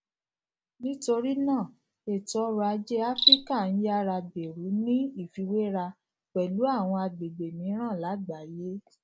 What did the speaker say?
nítorí náà ètò ọrò ajé áfíríkà ń yára gbèrú ní ìfiwéra pẹlú àwọn agbègbè mìíràn lágbàáyé